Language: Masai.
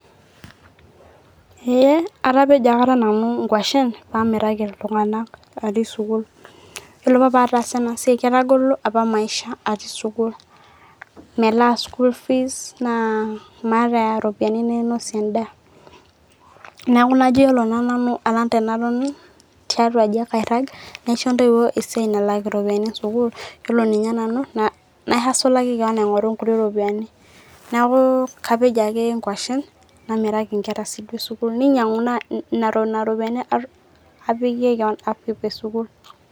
Eee atapejo akata nanu ng'washen paamiraki iltung'anak atii sukuul. Yiolo apa pataasa ena siai ketagolo apa maisha atii sukuul, melaa school fees, naa maata iropiani nainosie endaa. Neeku iyiolo naa nanu najo alang' enaton tiatua aji ake airag naisho intoiwuo esiai nalak iropiani e sukuul, iyiolo ninye nanu naihasolaki keon aing'oru inkuti ropiani. Neeku kapej aje ng'washen namiraki inkera e sukuul, ninyag'u naa inena ropiani apikie keon upkeep e sukuul.